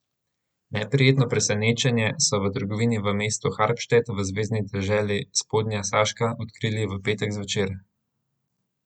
Neprijetno presenečenje so v trgovini v mestu Harpstedt v zvezni deželi Spodnja Saška odkrili v petek zvečer.